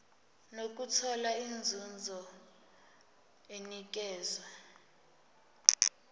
nokuthola inzuzo enikezwa